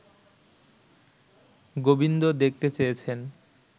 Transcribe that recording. গোবিন্দ দেখতে চেয়েছেন